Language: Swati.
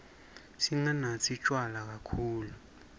singanatsi tjwala kakhulu